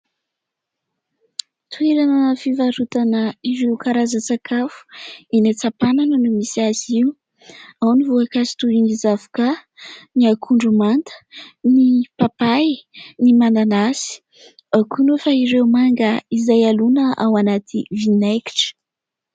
Toerana fivarotana ireo karazan-tsakafo. Eny Antsampanana no misy azy io. Ao ny voankazo toy ny zavokà, ny akondro manta, ny papay, ny mananasy. Ao koa nefa ireo manga izay alona ao anaty vinaingitra.